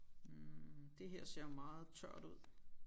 Hm det her ser meget tørt ud